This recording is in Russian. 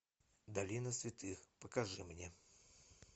долина святых покажи мне